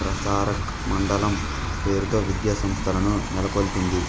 ప్రసారక్ మండలం పేరుతో విద్యా సంస్థలను నెలకొల్పింది